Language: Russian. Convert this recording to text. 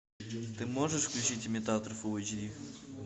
ты можешь включить имитатор фул эйч ди